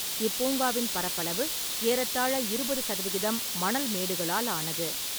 இப்பூங்காவின் பரப்பாளவு ஏறத்தாழ இருபது சதவிகிதம் மணல் மேடுகளால் ஆனது.